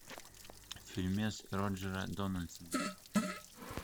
фильмец роджера дональдсона